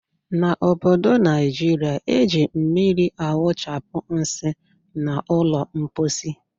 N' obodo Naijiria, eji mmiri awụchapụ nsị n' ụlọ mposi.